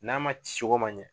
N'a ma cicogo man ɲɛ